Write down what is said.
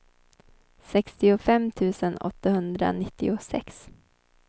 sextiofem tusen åttahundranittiosex